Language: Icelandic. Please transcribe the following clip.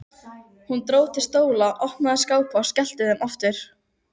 Dró til stóla, opnaði skápa og skellti þeim aftur.